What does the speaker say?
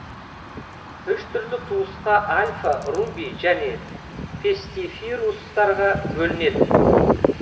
үш түрлі туысқа альфа руби және пестифирустарға бөлінеді